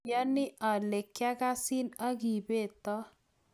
mayani ale kiakasin aki beto